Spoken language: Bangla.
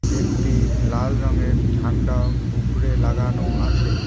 একটি লাল রঙের ঝান্ডাও উফরে লাগানো আছে।